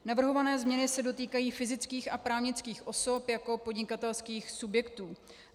Navrhované změny se dotýkají fyzických a právnických osob jako podnikatelských subjektů.